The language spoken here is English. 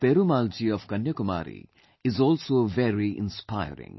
Perumal Ji of Kanyakumari is also very inspiring